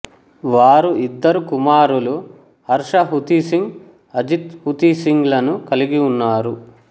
వారు ఇద్దరు కుమారులు హర్ష హుతీసింగ్ అజిత్ హుతీసింగ్ లను కలిగి ఉన్నారు